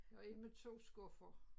Har en med 2 skuffer